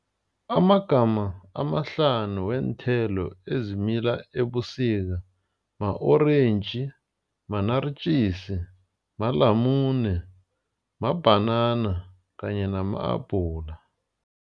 Amagama amahlanu weenthelo ezimila ebusika ma-orentji, ma-naartjies, malamule, mabhanana kanye nama-abhula.